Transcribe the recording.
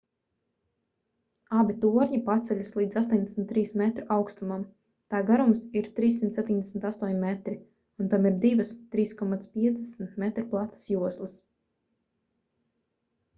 abi torņi paceļas līdz 83 metru augstumam tā garums ir 378 metri un tam ir divas 3,50 m platas joslas